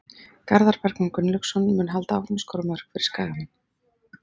Garðar Bergmann Gunnlaugsson mun halda áfram að skora mörk fyrir Skagamenn.